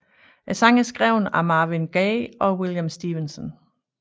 Sangen er skrevet af Marvin Gaye og William Stevenson